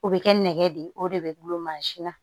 O bɛ kɛ nɛgɛ de ye o de bɛ gulon mansin na